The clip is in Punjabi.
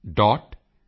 yuvika